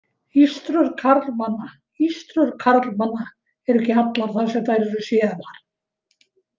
Ístrur karlmanna Ístrur karlmanna eru ekki allar þar sem þær eru séðar.